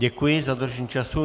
Děkuji za dodržení času.